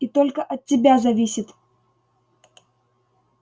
и только от тебя зависит